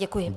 Děkuji.